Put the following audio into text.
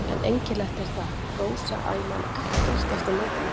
En einkennilegt er það, Rósa, að ég man ekkert eftir myndinni.